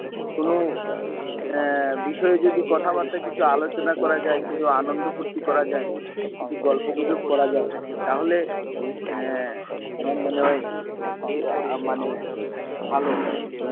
কোন আহ বিষয় যদি কথাবার্তা কিছু আলোচনা করা যায়, কিছু আনন্দ ফুর্তি করা যায়, কিছু গল্প গুজব করা যায়, তাহলে এর আমার মনে হয় কিছু মানে ভালো হবে।